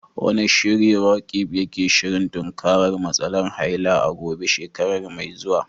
Wane shiri Roqeeb yake shirin tunkarar matsalar haila a Gombe shekara mai zuwa?